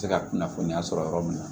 Se ka kunnafoniya sɔrɔ yɔrɔ min na